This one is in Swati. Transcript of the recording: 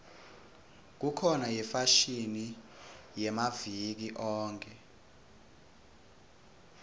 kukhona yefashini yamaviki onkhe